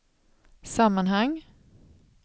sammanhang